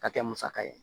Ka kɛ musaka ye